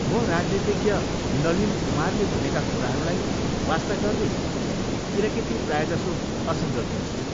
म राजनीतिज्ञ नलिन कुमारले भनेका कुराहरूलाई वास्ता गर्दिनँ किनकि ती प्रायजसो असङ्गत हुन्छन्।